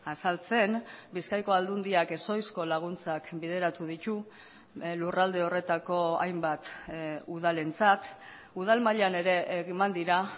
azaltzen bizkaiko aldundiak ez oizko laguntzak bideratu ditu lurralde horretako hainbat udalentzat udal mailan ere eman dira